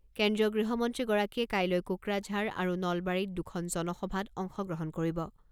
কেন্দ্ৰীয় গৃহমন্ত্ৰীগৰাকীয়ে কাইলৈ কোকৰাঝাৰ আৰু নলবাৰীত দুখন জনসভাত অংশগ্ৰহণ কৰিব।